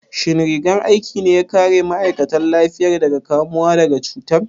Shin rigar aikin ne ya kare ma'aikatan lafiyar daga kamuwa da cutar?